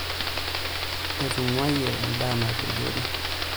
Etung'uayie endaa nepejori.